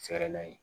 Fɛɛrɛ la yen